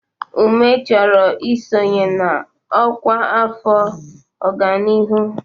Ume chọrọ isonye na ọkwa afọ ọganihu.